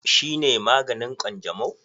Shi ne maganin Kwanjamo?